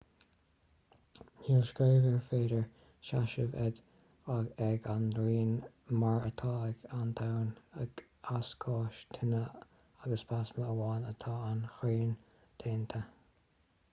níl screamh ar féidir seasamh air ag an ngrian mar atá ag an domhan as gáis tine agus plasma amháin atá an ghrian déanta